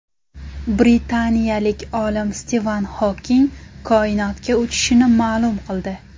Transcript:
Britaniyalik olim Stiven Xoking koinotga uchishini ma’lum qildi.